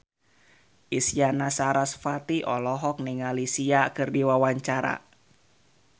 Isyana Sarasvati olohok ningali Sia keur diwawancara